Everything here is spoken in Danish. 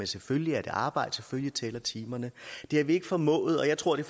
selvfølgelig er det arbejde og selvfølgelig tæller timerne det har vi ikke formået og jeg tror det